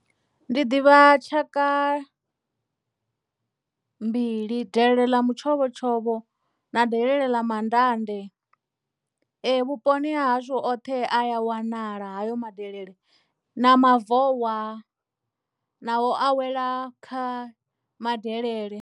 Ndi ḓivha tshaka mbili delele ḽa mutshovhotshovho na delele ḽa mandande ee vhuponi ha hashu oṱhe a wanala hayo madelele na mavowa na o awela kha madelele.